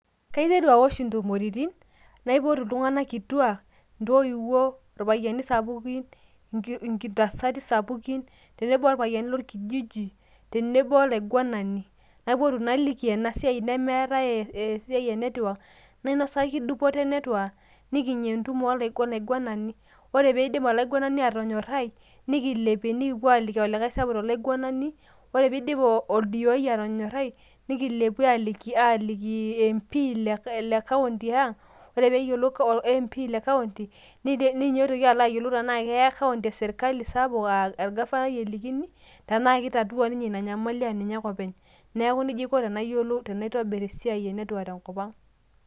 Kaiteru aosh intumoritin naipotu iltunganak kituaak ,intoiwuo ,irpayiani sapukin inki intasati sapukin ,tenebo orpayiani lorkijiji ,tenebo olaingwanani naipotu naliki ena siai nemeetae ee esiai e network, nainosaki dupoto e network nikinya entumo olaigwanani , ore peeidip olaingwanani atonyorai , nikilepie nikipuo aaliki olikae sapuk tolaingwanani, ore piidip oldiooi atonyorai , nikilepie aliki aliki mp le county ang, ore pee eyiolou mp le county nite neitoki alo ayiolou tenaa keya county e sirkali sapuk aa orgafanai elikini, tenaa kitatua ninye ina ina nyamali aa ninye ake openy . niaku nejia aiko tenayiolu tenaitobir esiai e network te nkopang.